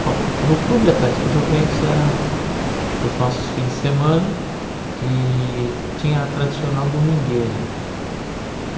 Bom, no Clube Atlético Juventus era os nossos fins de semana e tinha a tradicional domingueira.